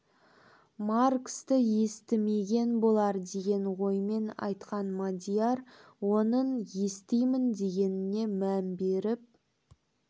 марксті естімеген болар деген оймен айтқан мадияр оның естимін дегеніне мән беріп